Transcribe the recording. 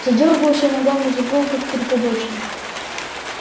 задёргался и ногами забил как припадочный